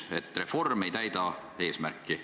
Te mainisite, et reform ei täida eesmärki.